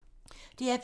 DR P2